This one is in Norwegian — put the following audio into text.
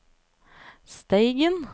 Steigen